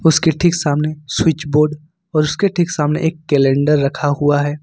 उसके ठीक सामने स्विच बोर्ड और उसके ठीक सामने एक कैलेंडर रखा हुआ है।